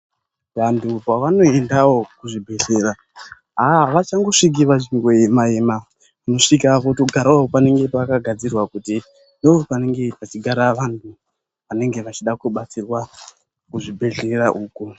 Vantu pa vano endawo ku zvibhedhlera avachango sviki vachingo ema ema uno svika kuto garawo panenge paka gadzirwa kuti ndo panenge pachi gara vantu vanenge vachida ku batsirwa mu zvibhedhlera uko.